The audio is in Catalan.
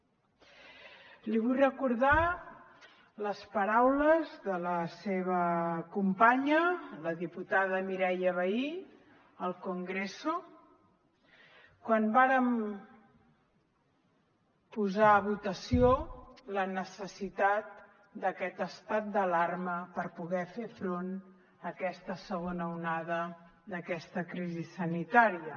li vull re cordar les paraules de la seva companya la diputada mireia vehí al congreso quan vàrem posar a votació la necessitat d’aquest estat d’alarma per poder fer front a aquesta segona onada d’aquesta crisi sanitària